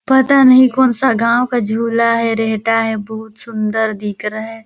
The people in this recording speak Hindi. पता नही कौन सा गाँव का झुला हैं रहता हैं बहुत सुंन्दर दिख रहा हैं।